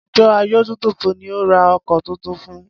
Àjọ adójútòfò ni o ra ọkọ̀ tuntun fun.